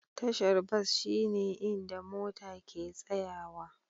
Tashar bas shine inda mota ke tsayawa.